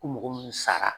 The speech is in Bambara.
Ko mɔgɔ minnu sara